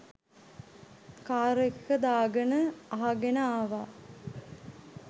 car එකක දාගෙන අහගෙන ආවා